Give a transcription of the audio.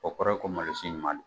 O kɔrɔ ye ko mali si ɲuman don.